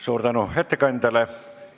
Suur tänu ettekandjale!